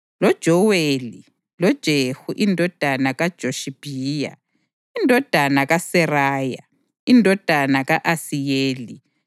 loJoweli, loJehu indodana kaJoshibhiya, indodana kaSeraya, indodana ka-Asiyeli